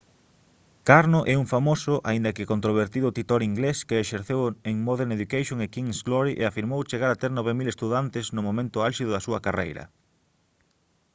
karno é un famoso aínda que controvertido titor inglés que exerceu en modern education e king's glory e afirmou chegar a ter 9000 estudantes no momento álxido da súa carreira